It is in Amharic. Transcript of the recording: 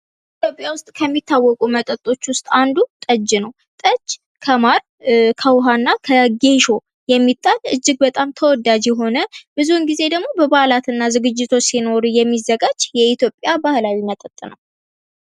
ኢትዮጵያ ውስጥ ከሚታቁ መጠጦች ውስጥ አንዱ ጠጅ ነው። ጠጅ ከማር፣ ከዉሃ እና ከጌሾ የሚጣል እጅግ በጣም ተወዳጅ የሆነ ብዙ ጊዜ ደግሞ በበአላትና ዝግጅቶች ሲኖሩ የሚዘጋጅ የኢትዮጵያ ባህላዊ መጠጥ ነው።